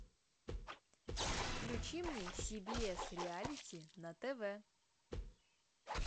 включи мне си би эс реалити на тв